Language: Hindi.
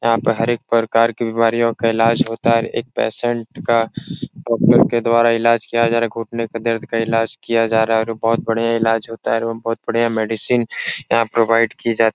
यहाँ पर हर एक प्रकार की बीमारियों का इलाज होता है । एक पेशेंट का डॉक्टर के द्वारा इलाज किया जा रहा हैं । घुटने का दर्द का इलाज किया जा रहा है और बहुत बढ़िया इलाज होता है और बहुत बढ़िया मेडिसिन यहाँ प्रोवाइड की जाती है ।